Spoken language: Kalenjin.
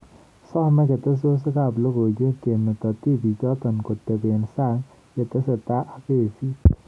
Some ketesyosek ab lagook kemeto tibiichoto kotebe sang yatesetai ak kesiit